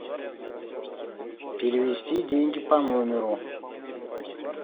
перевести деньги по номеру